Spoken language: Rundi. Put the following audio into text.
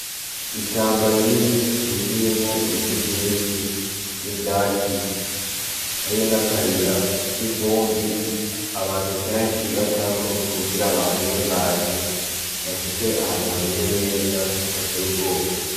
Ishamba rinini ryuzuyemwo ibiti vyinshi n'ivyatsi, hariyo n'akayira k'ivumbi abantu kenshi bacako kugira baharengane bashike ahantu hameze neza hadateye ubwoba.